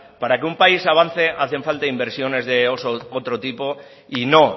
para que un país avance hacen falta inversiones de otro tipo y no